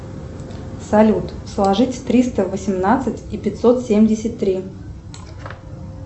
салют сложить триста восемнадцать и пятьсот семьдесят три